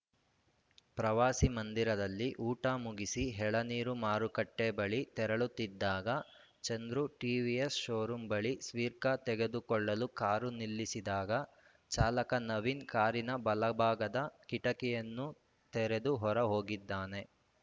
ಪ್ರವಾಸಿಮಂದಿರದಲ್ಲಿ ಊಟ ಮುಗಿಸಿ ಎಳನೀರು ಮಾರುಕಟ್ಟೆಬಳಿ ತೆರಳುತ್ತಿದ್ದಾಗ ಚಂದ್ರು ಟಿವಿಎಸ್‌ ಷೋರೂಂ ಬಳಿ ಸ್ಟಿಕ್ಕರ್‌ ತೆಗೆದುಕೊಳ್ಳಲು ಕಾರು ನಿಲ್ಲಿಸಿದಾಗ ಚಾಲಕ ನವೀನ್‌ ಕಾರಿನ ಬಲಭಾಗದ ಕಿಟಕಿಯನ್ನು ತೆರೆದು ಹೊರಹೋಗಿದ್ದಾನೆ